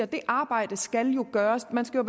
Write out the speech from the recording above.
det arbejde skal jo gøres man skal